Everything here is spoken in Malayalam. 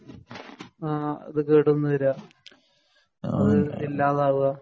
ആഹ് അത് കേടന്ന് വരാ ഇല്ലാതാവ